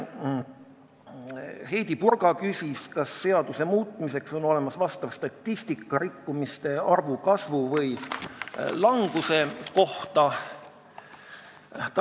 Heidy Purga küsis, kas on olemas statistika rikkumiste arvu kasvu või languse kohta, et seadust oleks põhjust muuta.